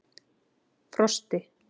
Frosti